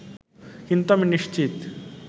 কিন্তু আমি নিশ্চিত